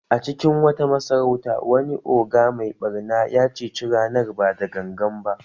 A cikin wata masarauta, wani ogre mai ɓarna ya ceci ranar ba da gangan ba